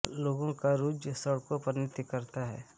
लोगों का रूज़ सड़कों पर नृत्य करता है